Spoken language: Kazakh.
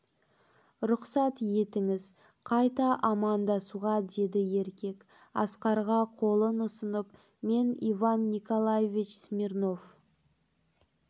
рұқсат етіңіз қайта амандасуға деді еркек асқарға қолын ұсынып мен иван николаевич смирнов